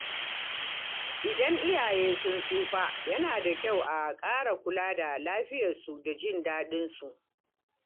Idan iyaye sun tsufa, yana da kyau a ƙara kula da lafiyarsu da jin daɗinsu.